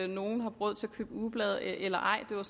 nogle har råd til at købe ugeblade eller ej det var